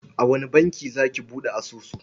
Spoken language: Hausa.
A wane banki za ki buɗe asusun?